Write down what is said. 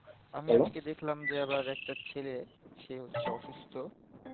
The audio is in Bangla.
আমিও নাকি দেখলাম যে আবার একটা ছেলে সে হচ্ছে office তো